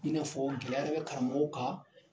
I n'a fɔ gɛlɛya de bɛ karamɔgɔw kan.